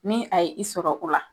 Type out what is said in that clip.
Ne a' y'i sɔrɔ